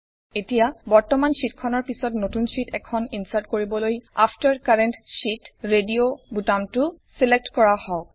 এতিয়া বৰ্তমান শ্বিটখনৰ পিছত নতুন শ্বিট এখন ইনচাৰ্ট কৰিবলৈ আফটাৰ কাৰেণ্ট শীত ৰেডিঅ বুতামটো ছিলেক্ট কৰা হওঁক